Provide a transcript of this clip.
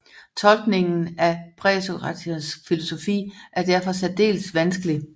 Tolkniningen af præsokratikernes filosofi er derfor særdeles vanskelig